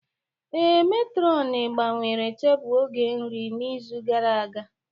Ee, matron gbanwere tebụl oge nri n'izu gara aga